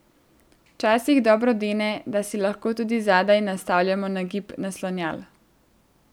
Včasih dobro dene, da si lahko tudi zadaj nastavljamo nagib naslonjal.